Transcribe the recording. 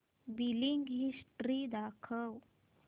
billing history दाखव